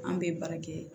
An bɛ baara kɛ